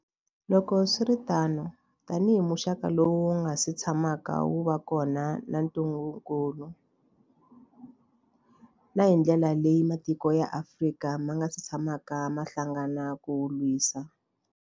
Loko swi ri tano, tanihi muxaka lowu wu nga si tshamaka wu va kona wa ntungukulu, na hi ndlela leyi matiko ya Afrika ma nga si tshamaka ma hlangana ku wu lwisa.